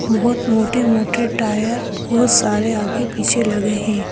बहुत मोटे-मोटे टायर बहुत सारे आगे पीछे लगे हैं।